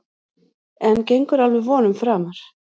En gengur alveg vonum framar.